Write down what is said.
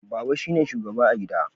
Baba shine shugaba a gida